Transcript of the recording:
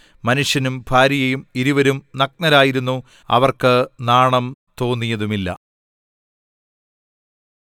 മനുഷ്യനും ഭാര്യയും ഇരുവരും നഗ്നരായിരുന്നു അവർക്ക് നാണം തോന്നിയതുമില്ല